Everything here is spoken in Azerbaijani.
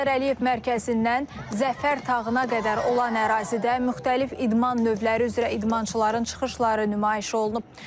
Heydər Əliyev mərkəzindən Zəfər dağına qədər olan ərazidə müxtəlif idman növləri üzrə idmançıların çıxışları nümayiş olunub.